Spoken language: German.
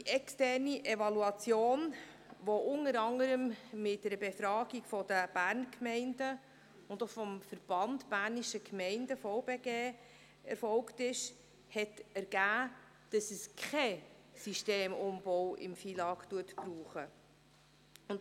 Die externe Evaluation, die unter anderem mit einer Befragung der Berner Gemeinden oder dem Verband Bernischer Gemeinden (VBG) erfolgte, hat ergeben, dass im FILAG kein Systemumbau notwendig ist.